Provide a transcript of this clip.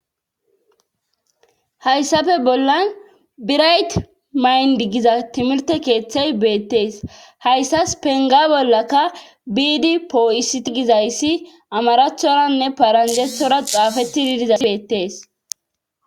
hayssafe bollan birayt mayndi giza timirte keeththey beettees hayssas penga bollaka biidi poo7isiti gizayssi amaraathoranne paranjethora xaafetidi dizays beettees